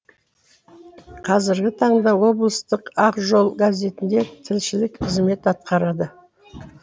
қазіргі таңда облыстық ақ жол газетінде тілшілік қызмет атқарады